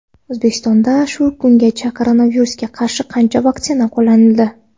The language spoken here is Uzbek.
O‘zbekistonda shu kungacha koronavirusga qarshi qancha vaksina qo‘llanildi?.